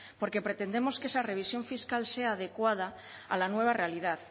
porque pretendemos que esa revisión fiscal sea adecuada a la nueva realidad